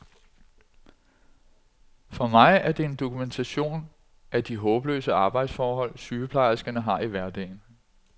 For mig er det en dokumentation af de håbløse arbejdsforhold, sygeplejerskerne har i hverdagen.